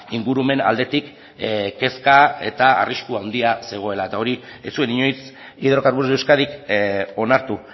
ingurumen aldetik kezka eta arrisku handia zegoela eta hori ez zuen inoiz hidrocarburos de euskadik onartu